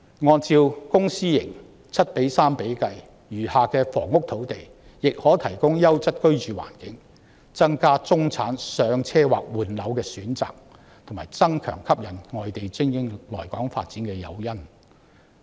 按照公私營房屋 7：3 的比例，餘下的房屋用地亦可提供優質居住環境，增加中產人士"上車"或換樓的選擇，並加強吸引外地精英來港發展的誘因。